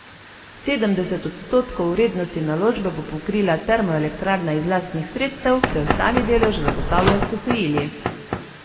Sedemdeset odstotkov vrednosti naložbe bo pokrila termoelektrarna iz lastnih sredstev, preostali delež zagotavlja s posojili.